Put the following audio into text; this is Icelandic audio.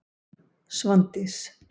Svandís